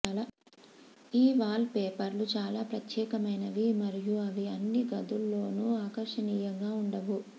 ఈ వాల్ పేపర్లు చాలా ప్రత్యేకమైనవి మరియు అవి అన్ని గదుల్లోనూ ఆకర్షణీయంగా ఉండవు